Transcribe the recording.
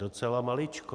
Docela maličkou.